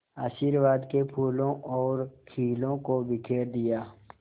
आशीर्वाद के फूलों और खीलों को बिखेर दिया